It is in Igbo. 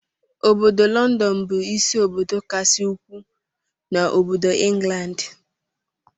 Ọbọdọ London bu ịsị obodo kasị ukwuu n'obodo England.